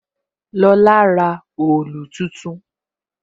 Lola ra òòlù tuntun